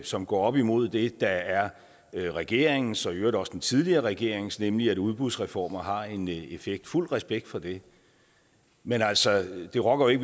som går op imod det der er regeringens og i øvrigt også den tidligere regerings synspunkt nemlig at udbudsreformer har en effekt fuld respekt for det men altså det rokker jo